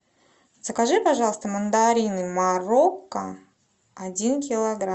закажи пожалуйста мандарины морокко один килограмм